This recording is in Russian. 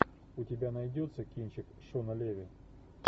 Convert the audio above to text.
у тебя найдется кинчик шона леви